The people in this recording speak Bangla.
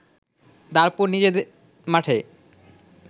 তারপর নিজের মাঠে